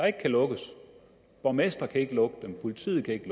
ikke lukkes borgmestre kan ikke lukke dem politiet kan ikke